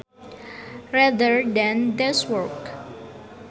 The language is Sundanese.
rather than desk work